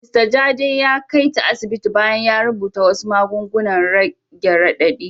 Mista Jade ya kai ta asibiti bayan ya rubuta wasu magungunan rage radadi.